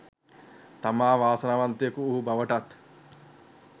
තමා වාසනාවන්තයෙකු වූ බවටත්